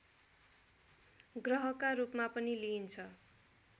ग्रहका रूपमा पनि लिइन्छ